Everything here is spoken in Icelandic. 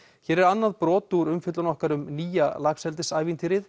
hér er annað brot úr umfjöllun okkar um nýja